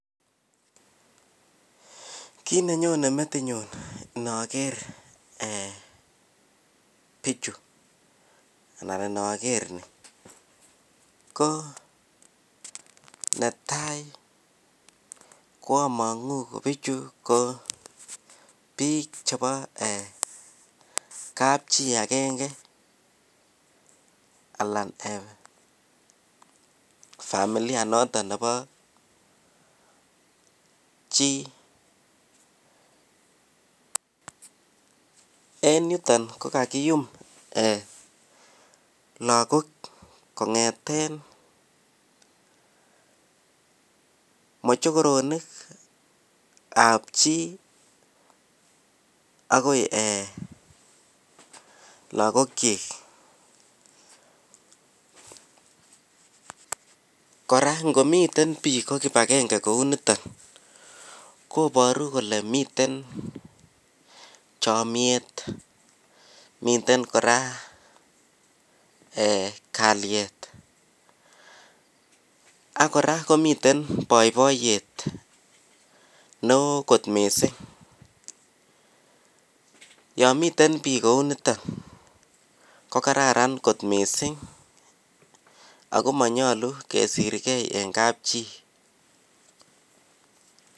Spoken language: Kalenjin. kiit nenyone metinyuun nogeer bichu anan nogeer, ko netai koamonguu ko bichu ko biik chebo kapchii agenge alaan um eeh familia noton nebo chi en yuton ko kagiyuum lagook kongeten mochokoronik ab chi agoi {um] eeh lagook kyiik, kora ngomiten biik ko kibagenge kouu no=iton koboru kole miten chomyeet miten koraa eeh kalyet ak kora komiten boiboiyet neeo kot mising, yoon miten biik kouu niton ko kararan kot mising ago monyolu kesirgee en kapchi.